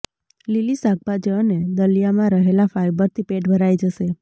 લીલી શાકભાજી અને દલિયામાં રહેલા ફાઈબરથી પેટ ભરાઈ જશે